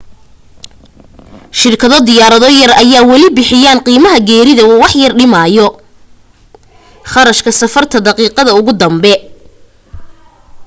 shirkado diyaarado yar ayaa wali bixiyaan qiimaha geerida oo waxyar dhimaayo kharashka safarta daqiiqada ugu dambe